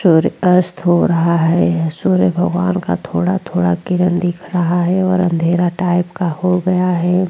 सूर्य अस्त हो रहा है सूर्य भगवान का थोड़ा-थोड़ा किरण दिख रहा है और अंधेरा टाइप का हो गया है।